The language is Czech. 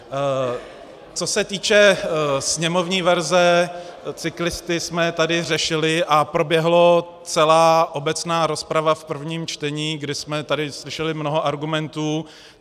Co se týče sněmovní verze, cyklisty jsme tady řešili a proběhla celá obecná rozprava v prvním čtení, kdy jsme tady slyšeli mnoho argumentů.